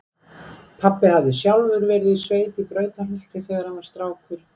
Pabbi hafði sjálfur verið í sveit í Brautarholti þegar hann var strákur.